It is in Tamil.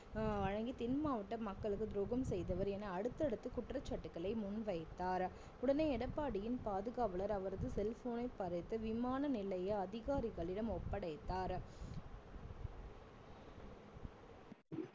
அஹ் வழங்கி தென் மாவட்ட மக்களுக்கு துரோகம் செய்தவர் என அடுத்தடுத்து குற்றச்சாட்டுகளை முன் வைத்தார் உடனே எடப்பாடியின் பாதுகாவலர் அவரது cell phone ஐ பறித்து விமான நிலைய அதிகாரிகளிடம் ஒப்படைத்தார்